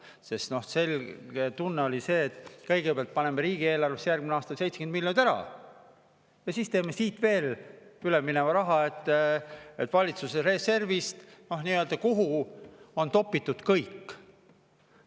Sest tunne oli see, et kõigepealt paneme järgmise aasta riigieelarvesse 70 miljonit ära ja siis teeme siit veel ülemineva raha, valitsuse reservist, kuhu on topitud kõik.